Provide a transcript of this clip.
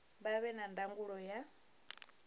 vha vhe na ndangulo ya